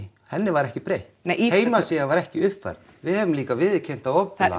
henni var ekki breytt nei í heimasíðan var ekki uppfærð við höfum líka viðurkennt það opinberlega